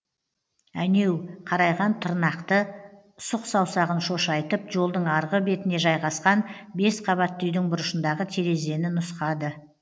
әнеу қарайған тырнақты сұқ саусағын шошайтып жолдың арғы бетіне жайғасқан бес қабатты үйдің бұрышындағы терезені нұсқады